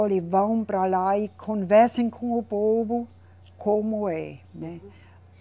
Olhe, vão para lá e conversam com o povo como é, né?